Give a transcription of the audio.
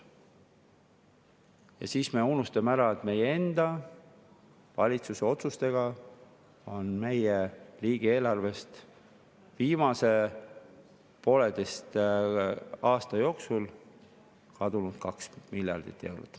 Ja siis me unustame ära, et meie enda valitsuse otsustega on meie riigieelarvest viimase pooleteise aasta jooksul kadunud 2 miljardit eurot.